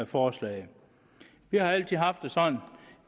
forslaget vi har altid haft